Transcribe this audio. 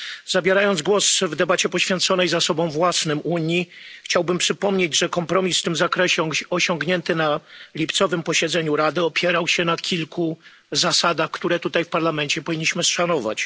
Zabierając głos w debacie poświęconej zasobom własnym Unii, chciałbym przypomnieć, że kompromis w tym zakresie osiągnięty na lipcowym posiedzeniu Rady opierał się na kilku zasadach, które tutaj w Parlamencie powinniśmy szanować.